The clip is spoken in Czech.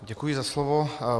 Děkuji za slovo.